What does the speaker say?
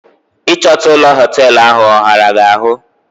Ị chọta ụlọ hoteelu ahụ, ọ ghara gị ahụ?